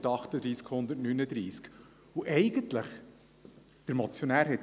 Eigentlich hat der Motionär recht: